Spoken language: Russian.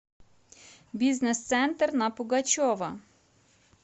бизнес центр на пугачева